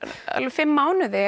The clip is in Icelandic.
fimm mánuði